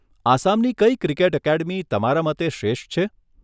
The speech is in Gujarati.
આસામની કઈ ક્રિકેટ એકેડમી, તમારા મતે શ્રેષ્ઠ છે?